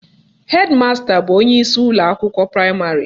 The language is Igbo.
Hedi masta bụ onyeisi ụlọakwụkwọ praịmarị